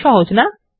সহজ না160